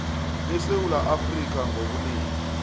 besewula afrika ngobunengi